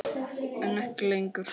Elísabet Hall: En ekki lengur?